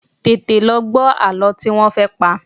Tètè lọ gbọ́ àlọ́ tí wọ́n fẹ́ pa!